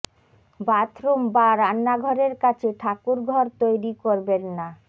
bathroom বা রান্নাঘরের কাছে ঠাকুর ঘর তৈরি করবেন না